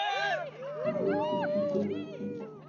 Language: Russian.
джой включи тори квит